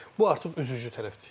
Bu artıq üzücü tərəfdir.